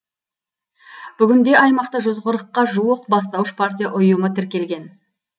бүгінде аймақта жүз қырыққа жуық бастауыш партия ұйымы тіркелген